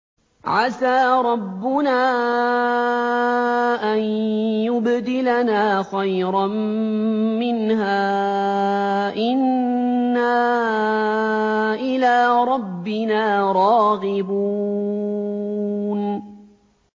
عَسَىٰ رَبُّنَا أَن يُبْدِلَنَا خَيْرًا مِّنْهَا إِنَّا إِلَىٰ رَبِّنَا رَاغِبُونَ